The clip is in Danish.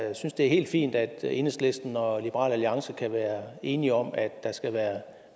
jeg synes det er helt fint at enhedslisten og liberal alliance kan være enige om at der skal være